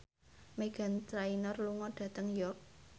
Meghan Trainor lunga dhateng York